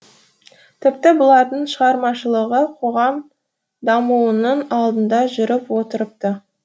тіпті бұлардың шығармашылығы қоғам дамуының алдында жүріп отырыпты